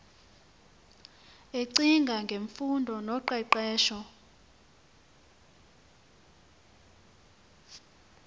ecinga ngemfundo noqeqesho